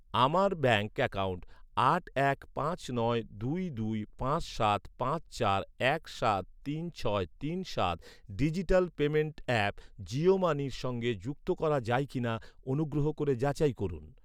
আমার bank account আট এক পাঁচ নয় দুই দুই পাঁচ সাত পাঁচ চার এক সাত তিন ছয় তিন সাত ডিজিটাল পেমেন্ট অ্যাপ জিও মানির সঙ্গে যুক্ত করা যায় কি না অনুগ্রহ করে যাচাই করুন।